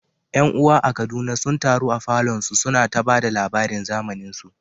’Yan’uwa a Kaduna sun taru a falon su, suna ta ba da labaran zamaninsu.